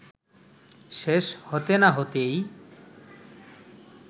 শেষ হতে না হতেই